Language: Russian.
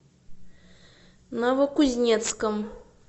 новокузнецком